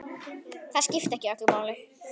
Það skipti ekki öllu máli.